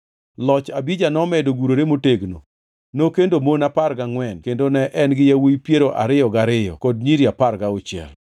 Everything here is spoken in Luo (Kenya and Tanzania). Loch Abija nomedo gurore motegno. Nokendo mon apar gangʼwen kendo ne en gi yawuowi piero ariyo gariyo kod nyiri apar gauchiel.